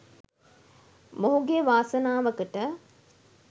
මොහුගේ වාසනාවකට